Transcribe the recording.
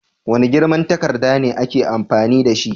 Wane girman takarda ne aka fi amfani dashi?